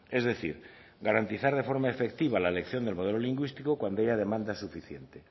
es decir garantizar de forma efectiva la elección del modelo lingüístico cuando haya demanda suficiente